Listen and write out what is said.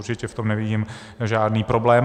Určitě, v tom nevidím žádný problém.